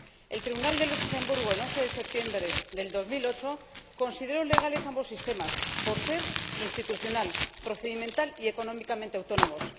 El Tribunal de Luxemburgo, el 11 de septiembre de 2008, consideró legales ambos sistemas por ser institucional, procedimental y económicamente autónomos.